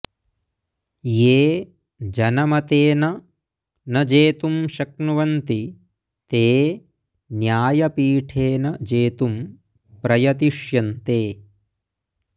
ये जनमतेन न जेतुं शक्नुवन्ति ते न्यायपीठेन जेतुं प्रयतिष्यन्ते